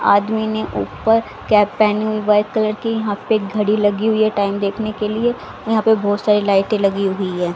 आदमी ने ऊपर कैप पहनी हुई व्हाइट कलर की यहां पे एक घड़ी लगी हुई है टाइम देखने के लिए यहां पे बहोत सारी लाइटे लगी हुई है।